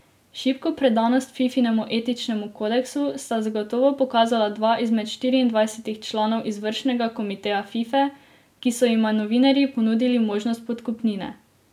Šibko predanost Fifinemu etičnemu kodeksu sta zagotovo pokazala dva izmed štiriindvajsetih članov izvršnega komiteja Fife, ko so jima novinarji ponudili možnost podkupnine.